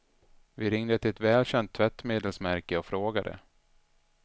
Vi ringde till ett välkänt tvättmedelsmärke och frågade.